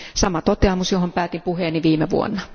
Sama toteamus, johon päätin puheeni viime vuonna.